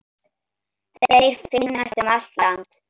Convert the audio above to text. Þeir finnast um allt land.